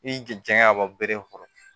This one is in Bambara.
I janɲa ka bɔ bere in kɔrɔ